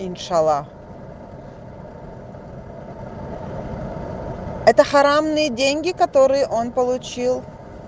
иншаллах это харамные деньги которые он получил